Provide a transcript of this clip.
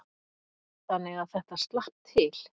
Þannig að þetta slapp til.